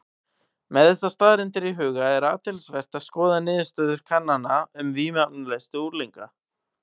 Með þessar staðreyndir í huga er athyglisvert að skoða niðurstöður kannana um vímuefnaneyslu unglinga.